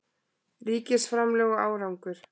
Ríkisframlög og árangur